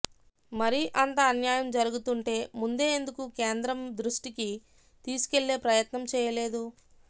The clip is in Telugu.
మరి అంత అన్యాయం జరుగుతుంటే ముందే ఎందుకు కేంద్రం దృష్టికి తీసుకెళ్లే ప్రయత్నం చెయ్యలేదు